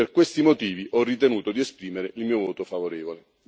Per questi motivi ho ritenuto di esprimere il mio voto favorevole.